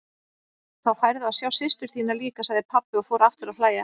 Þá færðu að sjá systur þína líka, sagði pabbi og fór aftur að hlæja.